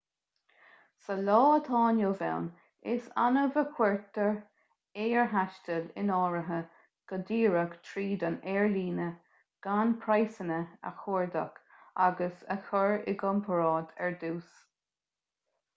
sa lá atá inniu ann is annamh a chuirtear aerthaisteal in áirithe go díreach tríd an aerlíne gan praghsanna a chuardach agus a chur i gcomparáid ar dtús